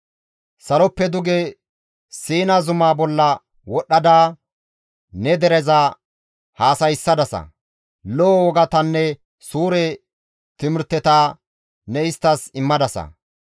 «Saloppe duge Siina zuma bolla wodhdhada ne dereza haasayssadasa; lo7o wogatanne suure timirteta ne isttas immadasa.